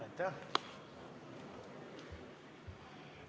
Aitäh!